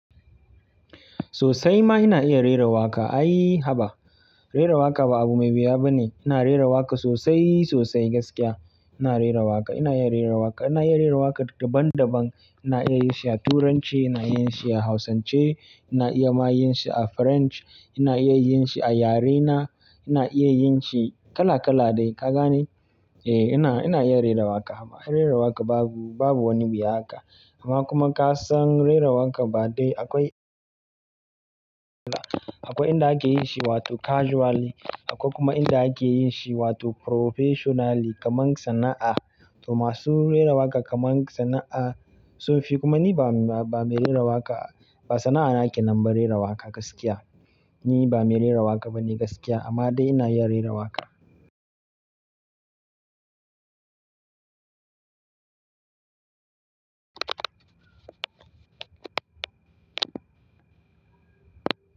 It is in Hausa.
Sosai ma ina iya rera waƙa. Ai, haba! Rera waƙa ba abu mai huya ba ne. Ina rera waƙa sosai, sosai gaskiya. Ina rera waƙa, ina iya rera waƙa. Ina iya rera waƙa daban-daban. Ina iya yin shi a Turanci, ina iya yin shi a hausance, ina iya ma yin shi a French, ina iya yin shi a yare na, ina iya yin shi kala kala dai. Ka gane? Eh, ina, ina iya rera waƙa amma rera waƙa babu, babu wani wuya haka. Amma kuma ka san rera waƙa ba dai akwai akwai inda ake yi shi wato casually, akwai kuma inda ake yin shi wato professionally kamar sana'a. To masu rera waƙa kamar sana'a sun fi kuma ni ba, ba mere waƙa, ba sana'a nake na rera waƙa gaskiya. Ni ba mere ra waƙa ba ne gaskiya amma dai ina iya rera waƙa.